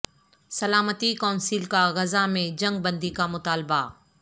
سلامتی کونسل کا غزہ میں جنگ بندی کا مطالبہ